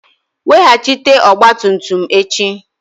Weghachite ọgba tum tum m echi!